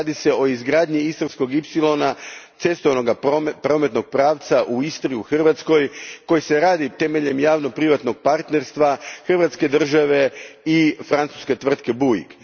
Radi se o izgradnji Istarskog ipsilona, cestovnog prometnog pravca u Istri, u Hrvatskoj, koji se radi temeljem javno privatnog partnerstva, Hrvatske i francuske tvrtke Bouygues.